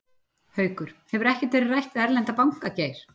Haukur: Hefur ekkert verið rætt við erlenda banka, Geir?